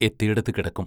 എത്തിയിടത്തു കിടക്കും.